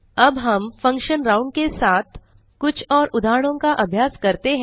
अब हम function round के साथ कुछ और उदाहरणों का अभ्यास करते हैं